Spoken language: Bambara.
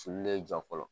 Sululen jɔ fɔlɔ